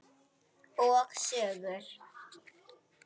Og sögur.